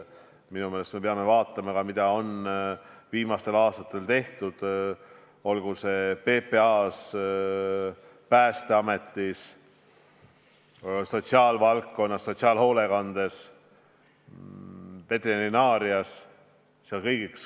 Minu meelest me peame vaatama ka, mida on viimastel aastatel tehtud PPA-s, Päästeametis, sotsiaalvaldkonnas, sotsiaalhoolekandes, veterinaarias.